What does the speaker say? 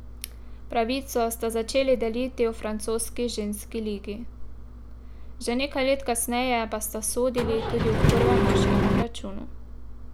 Pravico sta začeli deliti v francoski ženski ligi, že nekaj let kasneje pa sta sodili tudi v prvem moškem obračunu.